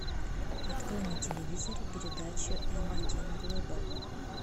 открой на телевизоре передачу м один глобал